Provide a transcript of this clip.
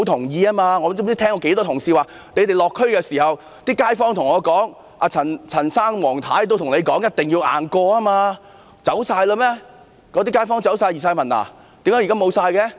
我不知多少次聽到同事表示，他們落區時，那些街坊如陳先生、黃太太都告訴他們一定要"硬過"，那些街坊全都走了嗎？